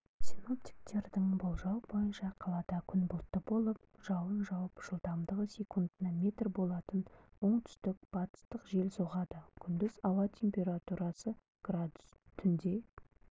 синоптиктердің болжауы бойынша қалада күн бұлтты болып жауын жауып жылдамдығы секундына метр болатын оңтүстік-батыстық жел соғады күндіз ауа температурасы градус түнде